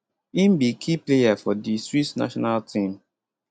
im be key player for di swiss national team